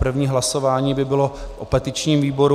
První hlasování by bylo o petičním výboru.